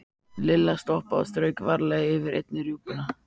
Lilla stoppaði og strauk varlega yfir eina rjúpuna.